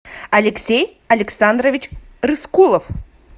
алексей александрович рыскулов